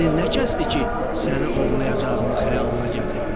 Əqlin nə kəsdi ki, səni ovlayacağımı xəyalına gətirdin?